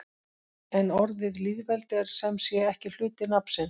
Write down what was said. En orðið lýðveldi er sem sé ekki hluti nafnsins.